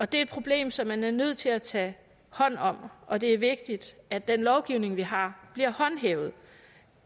det er et problem som man er nødt til at tage hånd om og det er vigtigt at den lovgivning vi har bliver håndhævet